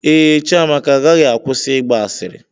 Ee, Chiamaka agaghị akwụsị ịgba asịrị.